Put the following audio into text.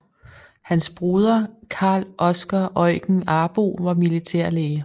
Hans broder Carl Oscar Eugen Arbo var militærlæge